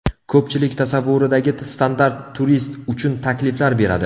Ko‘pchilik tasavvuridagi standart turist uchun takliflar beradi.